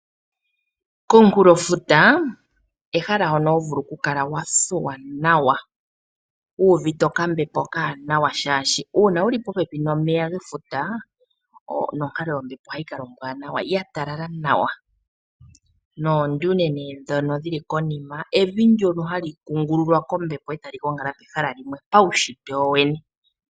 Komunkulofuta ehala hono ho vulu okukala wa thuwa nawa wu uvite okambepo okawanawa, oshoka uuna wu li popepi nomeya gefuta nonkalo yombepo ohayi kala ombwaanawa, ya talala nawa. Oodaina ndhono hadhi kala konima evi ndyono hali pepwa kombepo e tali gongala pehala limwe paunshitwe wo wene.